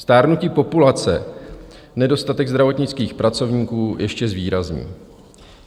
Stárnutí populace nedostatek zdravotnických pracovníků ještě zvýrazní.